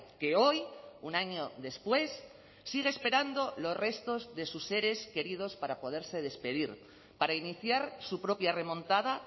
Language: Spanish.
que hoy un año después sigue esperando los restos de sus seres queridos para poderse despedir para iniciar su propia remontada